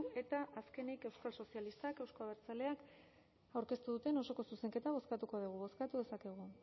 eta azkenik euskal sozialistak euzko abertzaleak aurkeztu duten osoko zuzenketa bozkatuko dugu bozkatu dezakegu